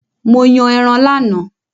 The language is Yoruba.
Mo yàn ẹran lánàá